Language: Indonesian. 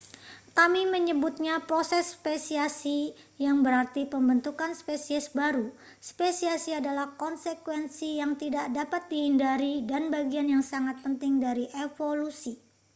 kami menyebutnya proses spesiasi yang berarti pembentukan spesies baru spesiasi adalah konsekuensi yang tidak dapat dihindari dan bagian yang sangat penting dari evolusi